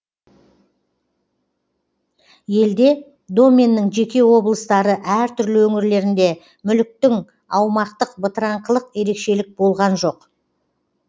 елде доменнің жеке облыстары әртүрлі өңірлерінде мүліктің аумақтық бытыраңқылық ерекшелік болған жоқ